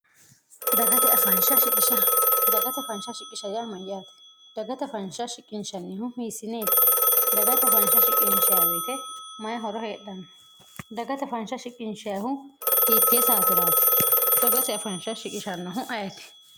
ddagata fansha shiqish yaa mayyaate dagata fanha shiqinshannihu hiissineeti dagata fansh siqinchwyite mayi horo hedhanno dagata faansha shiqinshhu hiittie saatiraati daggate afaansha shiqishannohu ayeti